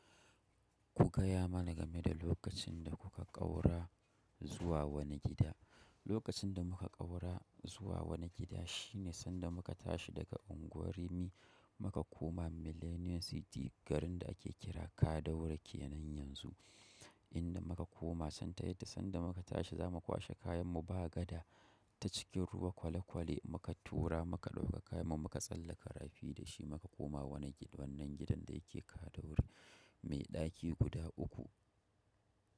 Ku gaya mana game da lokacin da kuka ƙaura zuwa wani gida. Lokacin da muka ƙaura zuwa wani gida shine sanda muka tashi daga Ungwar Rimi muka koma Millennium City, garin da ake kira Kaduna kenan yanzu. Inda muka koma, sanda yadda sanda muka tashi za mu kwashe kayan mu ba gada ta cikin ruwa kwale kwale muka tura muka ɗauka kayan mu muka tsallaka rafi da shi muka koma wani gidan wannan gidan da yake Kaduna mai ɗaki guda uku.